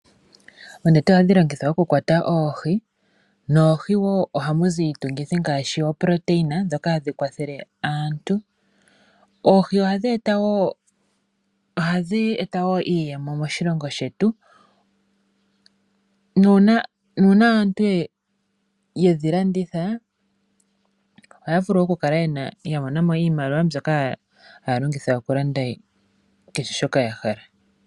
Oonete ohadhi longithwa okukwata oohi, noohi ohamuzi iitungithi ngaashi oprotein dhoka hadhi kwathele aantu, oohi ohadhi eta wo iiyemo moshilongo shetu, nuuna aantu yedhi landitha ohaya vulu okukala yamonamo iimaliwa mbyoka haya longitha okulanda kehe shoka yahala.